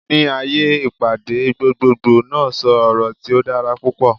Ni aaye ipade, gbogboogbo naa sọ ọrọ ti o dara pupọ